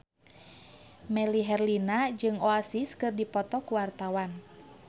Melly Herlina jeung Oasis keur dipoto ku wartawan